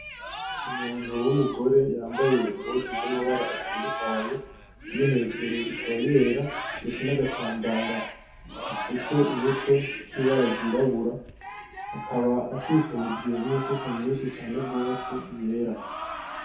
Umuntu w'umugore yambaye impuzu z'amabara atandukanye iyo hejuru ikaba yera ndetse n'agatambara gafutse umutwe k'ibara ryirabura, akaba akikujwe n'imifuko myishi cane gose yera.